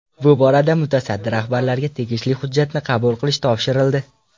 Bu borada mutasaddi rahbarlarga tegishli hujjatni qabul qilish topshirildi.